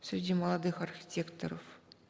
среди молодых архитекторов